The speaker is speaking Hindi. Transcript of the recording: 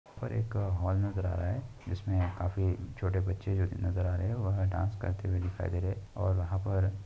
और एक हॉल नज़र आ रहा है जिसमें काफी छोटे बच्चे नजर आ रहे हैं। वह डांस करते हुये दिखाई दे रहे हैं और वहाँ पर --